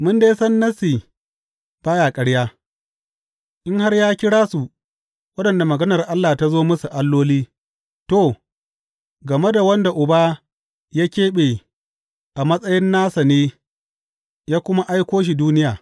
Mun dai san Nassi ba ya ƙarya, In har ya kira su waɗanda maganar Allah ta zo musu, alloli,’ to, game da wanda Uba ya keɓe a matsayin nasa ne ya kuma aiko shi duniya.